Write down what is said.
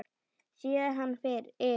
Sé hann yfir